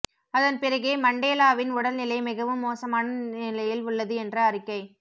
அதன் பிறகே மண்டேலாவின் உடல் நிலை மிகவும் மோசமான நிலையில் உள்ளது என்ற அறிக்கை